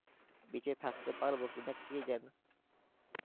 বেঁচে থাকতে পারবো কিনা কে জানে